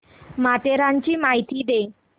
माथेरानची माहिती दे